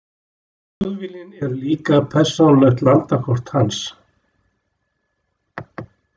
Þjóðviljinn er líka persónulegt landakort hans.